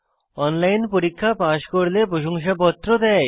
online পরীক্ষা pass করলে প্রশংসাপত্র দেয়